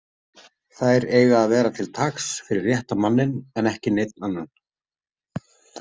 Þær eiga að vera til taks fyrir rétta manninn en ekki neinn annan.